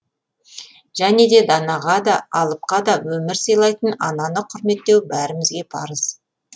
және де данаға да алыпқа да өмір сыйлайтын ананы құрметтеу бәрімізге парыз